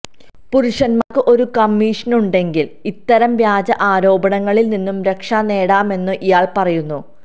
പുരുഷന്മാർക്ക് ഒരു കമ്മീഷനുണ്ടെങ്കിൽ ഇത്തരം വ്യാജ ആരോപണങ്ങളിൽ നിന്ന് രക്ഷ നേടാമെന്നും ഇയാൽ പറയുന്നു